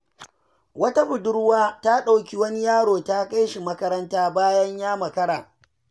Wata budurwa ta ɗauki wani yaro ta kai shi makaranta bayan ya makara.